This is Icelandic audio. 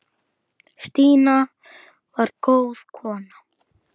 Stína var góð kona.